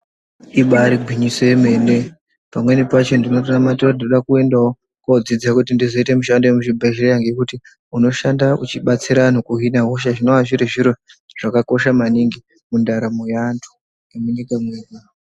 Ibari gwinyiso yemene pamweni, pacho ndinotonamatira kuti ndinodawo kuendawo kodzidza kuti ndizoita mushandi vemuchibhedhleya. Ngekuti unoshanda uchibatsira vantu kuhina hosha ngendaa yekuti zvakakosha maningi mundaramo yeandu.